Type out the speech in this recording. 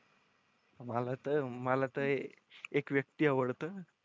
मला तर मला ते एक व्यक्ती आवडत.